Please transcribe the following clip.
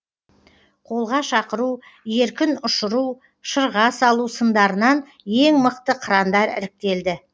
қолға шақыру еркін ұшыру шырға салу сындарынан ең мықты қырандар іріктелді